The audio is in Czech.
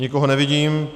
Nikoho nevidím.